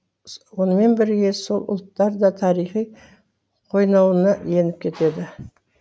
онымен бірге сол ұлттар да тарихи қойнауына еніп кетеді